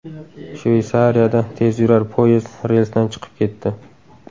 Shveysariyada tezyurar poyezd relsdan chiqib ketdi.